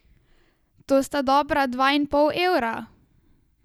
To sta dobra dva in pol evra...